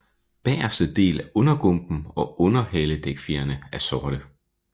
Bageste del af undergumpen og underhaledækfjerene er sorte